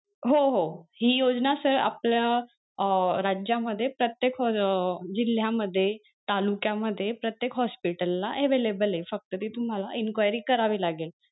हो हो हि योजना sir आपल्या अं राज्यामध्ये प्रत्येक अं जिल्ह्यामध्ये तालुक्या मध्ये प्रत्येक hospital ला available ये फक्त तिथं तुम्हाला enquiry करावी लागेल.